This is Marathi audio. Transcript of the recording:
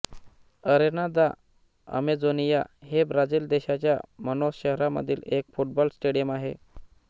अरेना दा अमेझोनिया हे ब्राझील देशाच्या मानौस शहरामधील एक फुटबॉल स्टेडियम आहे